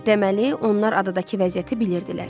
Deməli onlar adadakı vəziyyəti bilirdilər.